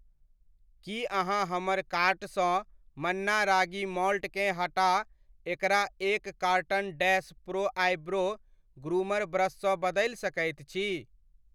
की अहाँ हमर कार्ट सँ मन्ना रागी मॉल्टकेँ हटा एकरा एक carton dash pro eyebrow groomer brush सँ बदलि सकैत छी?